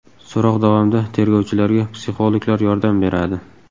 So‘roq davomida tergovchilarga psixologlar yordam beradi.